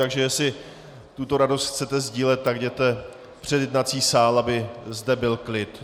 Takže jestli tuto radost chcete sdílet, tak jděte před jednací sál, aby zde byl klid.